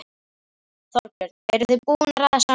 Þorbjörn: Eruð þið búin að ræða saman?